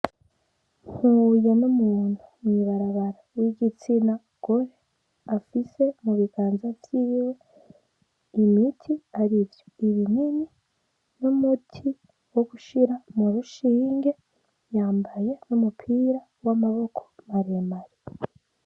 Mpuye n'umuntu mw'ibarabara w'igitsina gore afise mu biganza vyiwe imiti arivyo:ibinini n'umuti wo gushira mu rushinge, yambaye n'umupira w'amaboko maremare.